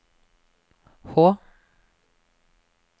Hå